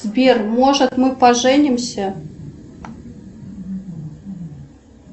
сбер может мы поженимся